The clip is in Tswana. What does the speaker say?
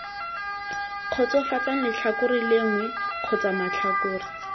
kgotsofatsang letlhakore lengwe kgotsa matlhakore